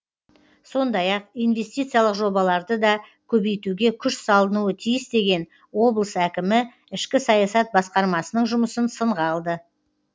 сондай ақ инвестициялық жобаларды да көбейтуге күш салынуы тиіс деген облыс әкімі ішкі саясат басқармасының жұмысын сынға алды